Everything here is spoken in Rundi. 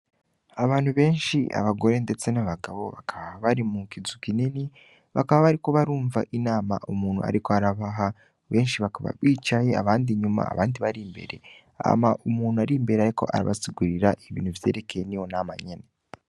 Abantu benshi abagore ndetse n’abagabo bakaba bari mukizu kinini, bakaba bariko barumva inama umuntu ariko arabaha benshi bakaba bicaye abandi inyuma abandi bari imbere, hama umuntu ari imbere ariko arabasigurira ibintu vyerekeye niyo nama nyene.